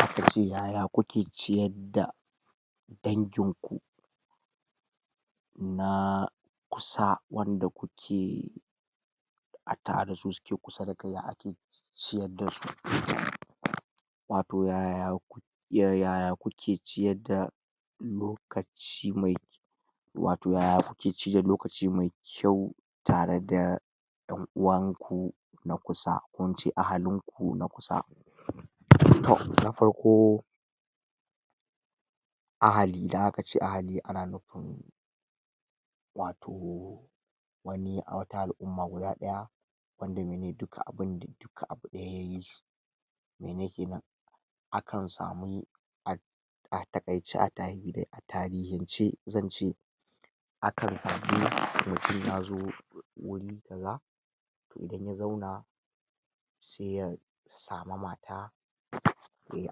Makiyaya haƙƙokin ciyar da dangin ku na kusa wanda kuke a tare da su suke kusa da kai ya ake siyar da su wato yaya yaya kuke ciyar da lokaci mai wato yaya kuke ci da lokaci mai kyau tare da ɗan uwan ku na kusa ko ince ahalin ku na kusa na farko ahali, idan aka ce ahali ana nufin wato wani wata al'umma guda ɗaya wanda mene duka abin dai duka abu ɗaya ya yi su mene kenan akan samu ai a taƙaice a tarihince zan ce akan samu mutun yazo wuri kaza inda na zauna sai ya samu mata yai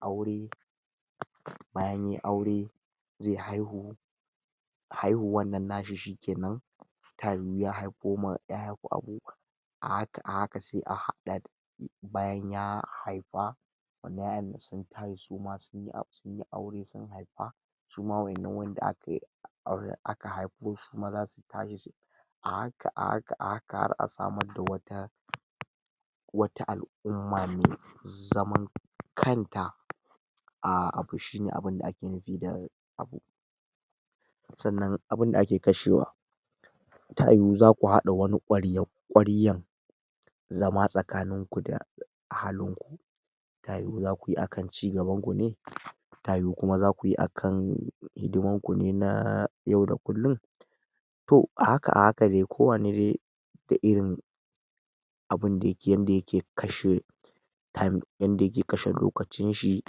aure bayan yai aure ze haihu haihuwan nan na shi shikenan ta yiwu ya haifo ma ƴa ko abu a haka a haka sai a haɗa bayan ya haifa a bayani sun haihu su ma sunyi aure sun haifa su ma waƴannan wanda aka aure aka haifo su su ma zasu tare a haka a haka a haka har a samar da wata wata al'umma mai zaman kan ta a abu shi ne abinda ake nufi da abu sannan abinda ake kashewa ta yiwu zaku haɗa wani ƙwarya-ƙwaryan zama tsakanin ku da ahalin ku ta yiwu zaku yi akan cigaban ku ne ta yiwu kuma zaku yi akan hidiman ku ne ta yau da kullun to a haka a haka dai kowani dai da irin abinda yake yanda yake kashe time yanda yake kashe lokacin shi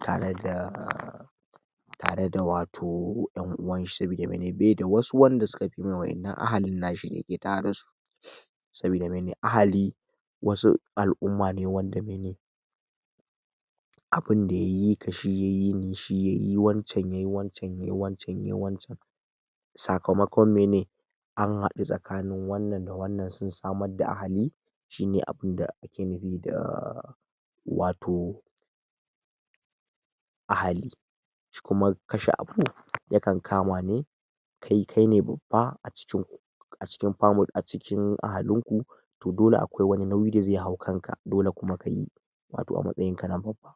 tare da tare da wato ƴan'uwan shi sabida mene be da wasu wanda suka fi mai waƴannan ahalin shi da yake tare da su sabida mene ahali wasu al'umma ne wanda mene abinda ya yi ka, shi ya yi ni, shi yai wancan, yai wancan, yai wancan, yai wancan, sakamakon mene an haɗu tsakanin wannan da wannan sun samar da ahali shi ne abinda ake nufi da wato ahali shi kuma kashe abu ɗin yakan kama ne kai kaine babban a cikin ku a cikin family, a cikin ahalin ku to dole akwai wani nauyi da zai hau kan ka, dole kuma ka yi wato a matsayin kana babba.